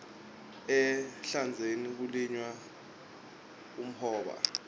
ehlandzeni kulinywa umhoba